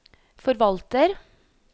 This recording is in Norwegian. forvalter